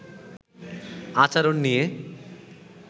আচরণ নিয়ে